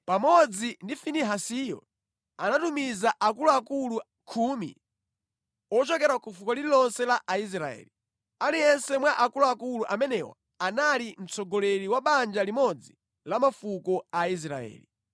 Pamodzi ndi Finehasiyo anatumiza akuluakulu khumi ochokera ku fuko lililonse la Aisraeli. Aliyense mwa akuluakulu amenewa anali mtsogoleri wa banja limodzi la mafuko a Aisraeli.